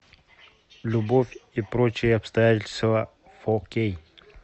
любовь и прочие обстоятельства фо кей